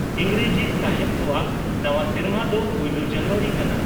ᱤᱸᱜᱽᱨᱮᱡᱤ ᱥᱟᱦᱮᱵᱽ ᱠᱚᱣᱟᱜ ᱱᱟᱣᱟ ᱥᱮᱨᱢᱟ ᱫᱚ ᱯᱩᱭᱞᱟᱹ ᱡᱟᱱᱣᱟᱨᱤ ᱠᱟᱱᱟ ᱾